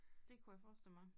Det kunne jeg forestille mig